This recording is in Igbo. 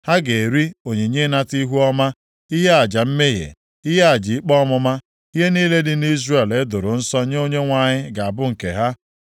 Ha ga-eri onyinye ịnata ihuọma, ihe aja mmehie, ihe aja ikpe ọmụma, ihe niile dị nʼIzrel e doro nsọ nye Onyenwe anyị ga-abụ nke ha.